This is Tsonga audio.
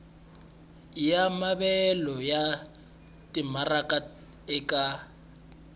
ya maavelo ya timaraka eka